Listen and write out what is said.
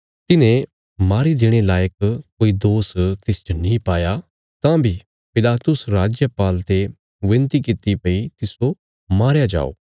तिन्हें मारी देणे लायक कोई दोष तिसच नीं पाया तां बी पिलातुस राजपाल ते विनती कित्ती भई तिस्सो मारया जाओ